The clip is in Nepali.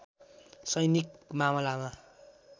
सैनिक मामलामा